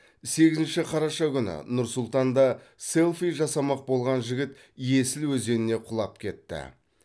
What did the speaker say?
сегізінші қараша күні нұр сұлтанда селфи жасамақ болған жігіт есіл өзеніне құлап кетті